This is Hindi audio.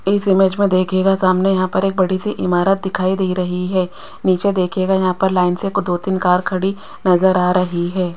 इस इमेज में देखिएगा सामने यहां पर एक बड़ी सी इमारत दिखाई दे रही है नीचे देखिएगा यहां पर लाइन से को दो तीन कार खड़ी नजर आ रही है।